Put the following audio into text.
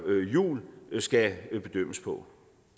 jul skal bedømmes på